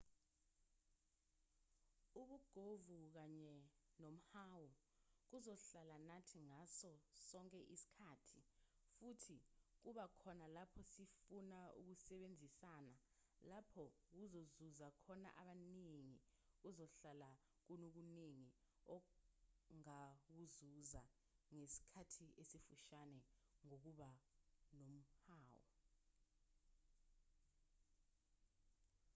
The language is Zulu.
ubugovu kanye nomhawu kuzohlala nathi ngaso sonke isikhathi futhi kuba khona lapho sifuna ukusebenzisana lapho kuzuza khona abaningi kuzohlale kunokuningi ongakuzuza ngesikhathi esifushane ngokuba nomhawu